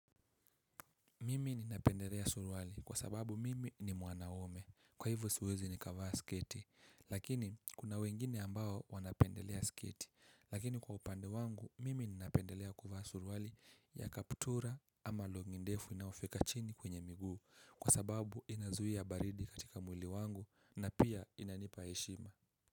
Mimi ninapendelea surwali kwa sababu mimi ni mwanaume kwa hivyo siwezi nikavaa sketi lakini kuna wengine ambao wanapendelea sketi lakini kwa upande wangu mimi ninapendelea kuvaa suruali ya kaptura ama long'i ndefu inaofika chini kwenye miguu kwa sababu inazuia baridi katika mwili wangu na pia inanipa heshima.